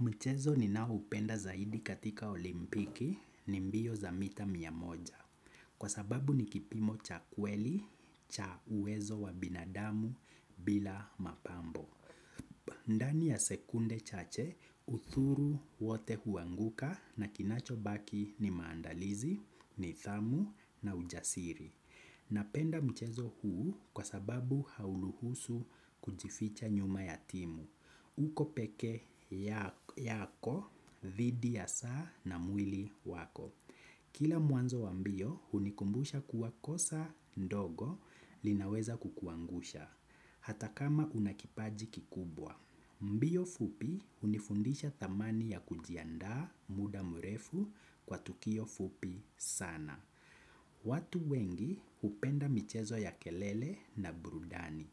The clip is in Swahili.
Mchezo ninaoupenda zaidi katika olimpiki ni mbio za mita mia moja kwa sababu ni kipimo cha kweli cha uwezo wa binadamu bila mapambo. Ndani ya sekunde chache udhuru wote huanguka na kinachobaki ni maandalizi, nidhamu na ujasiri. Napenda mchezo huu kwa sababu hauruhusu kujificha nyuma ya timu. Uko pekee yako, dhidi ya saa na mwili wako. Kila mwanzo wa mbio hunikumbusha kuwa kosa ndogo linaweza kukuangusha. Hata kama una kipaji kikubwa mbio fupi hunifundisha thamani ya kujiandaa muda mrefu kwa tukio fupi sana. Watu wengi hupenda michezo ya kelele na burudani.